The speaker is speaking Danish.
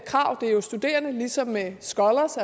det er jo studerende ligesom med scolars